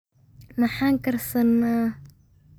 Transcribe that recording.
Maxaa karsana.